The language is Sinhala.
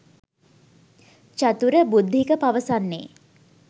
චතුර බුද්ධික පවසන්නේ.